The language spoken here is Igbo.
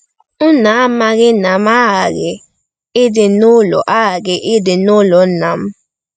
“Unu amaghi na m aghaghị ịdị n’ụlọ aghaghị ịdị n’ụlọ Nna m?”